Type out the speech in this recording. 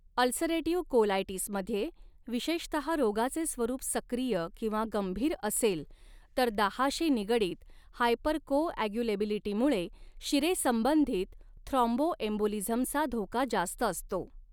Ulcerative कोलायटिसमध्ये, विशेषतहा रोगाचे स्वरूप सक्रिय किंवा गंभीर असेल तर, दाहाशी निगडीत हायपरकोॲग्युलेबिलिटीमुळे शिरेसंबंधित थ्रॉम्बोएम्बोलिझमचा धोका जास्त असतो.